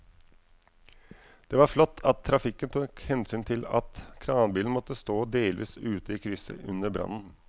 Det var flott at trafikken tok hensyn til at kranbilen måtte stå delvis ute i krysset under brannen.